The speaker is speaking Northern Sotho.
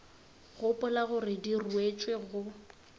gopola gore di ruetšwe go